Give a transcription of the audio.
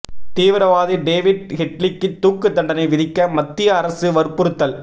தீவிரவாதி டேவிட் ஹெட்லிக்கு தூக்கு தண்டனை விதிக்க மத்திய அரசு வற்புறுத்தல்